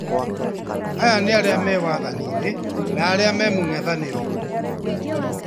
Aya nĩ arĩa me wathaninĩ na arĩa me mũng'ethanĩro